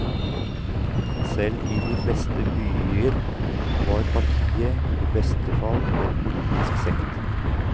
Selv i de fleste byer var partiet i beste fall en politisk sekt.